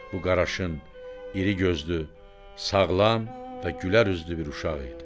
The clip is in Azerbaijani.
Bu qaraşın, iri gözlü, sağlam və gülərüzlü bir uşaq idi.